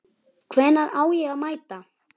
Hvenær á ég að mæta?